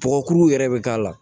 Kɔgɔkuru yɛrɛ bɛ k'a la